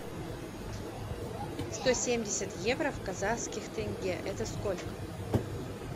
сто семьдесят евро в казахских тенге это сколько